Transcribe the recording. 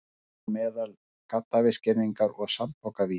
Þar á meðal gaddavírsgirðingar og sandpokavígi.